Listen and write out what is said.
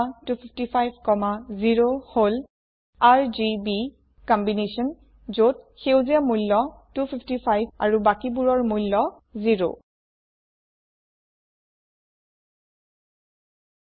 02550 হল RGB combination যত সেউজীয়াৰ মূল্য 255 আৰু বাকিবোৰৰ মূল্য 0